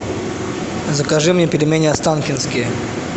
закажи мне пельмени останкинские